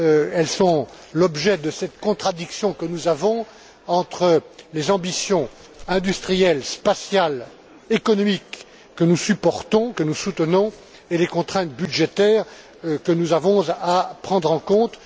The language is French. Elles sont l'objet de cette contradiction que nous avons entre les ambitions industrielles, spatiales, économiques que nous soutenons et les contraintes budgétaires que nous avons à prendre en compte.